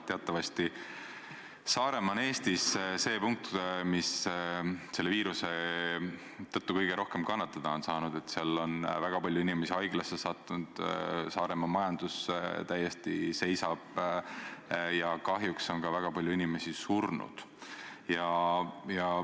Teatavasti on Saaremaa Eestis see punkt, mis selle viiruse tõttu kõige rohkem kannatada on saanud, seal on väga palju inimesi haiglasse sattunud, Saaremaa majandus täiesti seisab ja kahjuks on ka väga palju inimesi surnud.